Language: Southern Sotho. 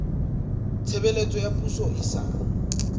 tshebeletso ya poso e sa